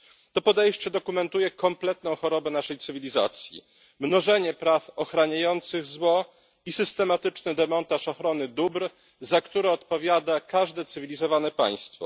To podejście dokumentuje kompletną chorobę naszej cywilizacji mnożenie praw ochraniających zło i systematyczny demontaż ochrony dóbr, za które odpowiada każde cywilizowane państwo.